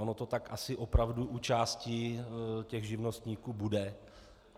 Ono to tak asi opravdu u části těch živnostníků bude.